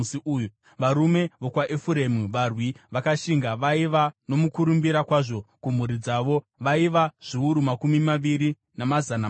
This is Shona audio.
varume vokwaEfuremu varwi vakashinga vaiva nomukurumbira kwazvo kumhuri dzavo vaiva zviuru makumi maviri namazana masere;